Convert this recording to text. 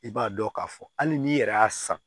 I b'a dɔn k'a fɔ hali n'i yɛrɛ y'a san